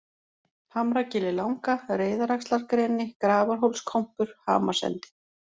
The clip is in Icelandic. Hamragilið Langa, Reiðaxlargreni, Grafarhólskompur, Hamarsendi